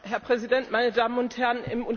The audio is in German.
Herr Präsident, meine Damen und Herren!